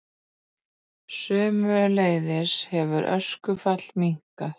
Sömuleiðis hefur öskufall minnkað